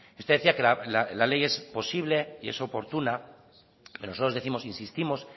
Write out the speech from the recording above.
usted decía que la ley es posible y es oportuna nosotros décimos e insistimos